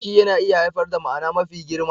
Ciki yana iya haifar da ma'ana mafi girma.